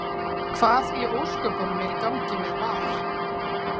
Hvað í ósköpunum er í gangi með VAR?